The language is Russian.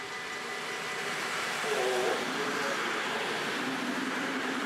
ооо теплое море поехали